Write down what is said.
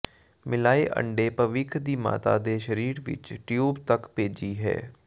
ਮਿਲਾਏ ਅੰਡੇ ਭਵਿੱਖ ਦੀ ਮਾਤਾ ਦੇ ਸਰੀਰ ਵਿੱਚ ਟਿਊਬ ਤੱਕ ਭੇਜੀ ਹੈ